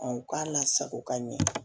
u k'a lasago ka ɲɛ